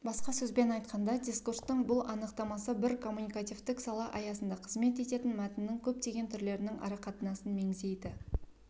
басқа сөзбен айтқанда дискурстың бұл анықтамасы бір коммуникативтік сала аясында қызмет ететін мәтіннің көптеген түрлерінің арақатынасын меңзейді